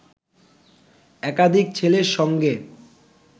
একাধিক ছেলের সঙ্গে